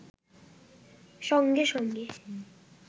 সঙ্গে-সঙ্গে